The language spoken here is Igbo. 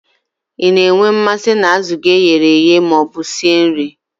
Ị na-enwe mmasị na azụ gị e ghere eghe ma ọ bụ sie nri?